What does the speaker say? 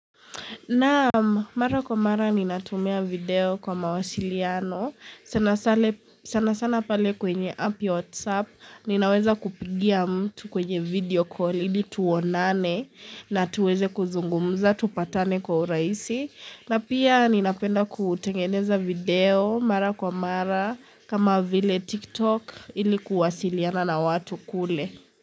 Naam mara kwa mara ninatumia video kwa mawasiliano. Sana sana pale kwenye app whatsapp ninaweza kupigia mtu kwenye video call ili tuonane na tuweze kuzungumza, tupatane kwa urahisi. Na pia ninapenda kutengeneza video mara kwa mara kama vile tiktok ilikuwasiliana na watu kule.